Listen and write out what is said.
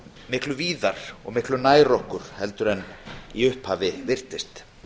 miklu víðar og miklu nær okkur heldur en í upphafi virtist